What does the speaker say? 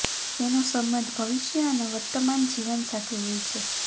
તેનો સંબંધ ભવિષ્ય અને વર્તમાન જીવન સાથે હોય છે